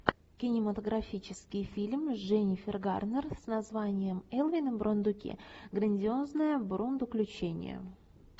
кинематографический фильм с дженнифер гарнер с названием элвин и бурундуки грандиозное бурундуключение